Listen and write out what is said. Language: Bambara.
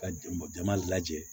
Ka jama jama lajɛ